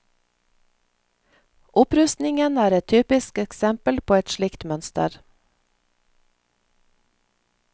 Opprustningen er et typisk eksempel på et slikt mønster.